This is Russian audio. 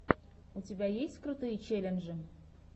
у тебя есть крутые челленджи